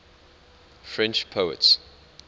french poets